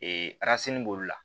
Ee b'olu la